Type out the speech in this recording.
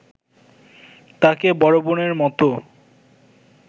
তাকে বড় বোনের মতো